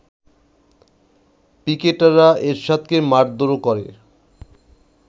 পিকেটাররা এরশাদকে মারধরও কর